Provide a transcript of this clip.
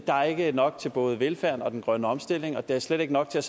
der er ikke nok til både velfærden og den grønne omstilling og der er slet ikke nok til at